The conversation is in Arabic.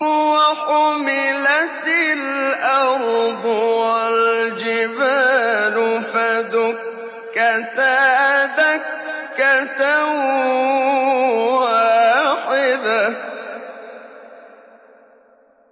وَحُمِلَتِ الْأَرْضُ وَالْجِبَالُ فَدُكَّتَا دَكَّةً وَاحِدَةً